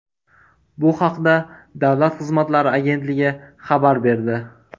Bu haqda Davlat xizmatlari agentligi xabar berdi.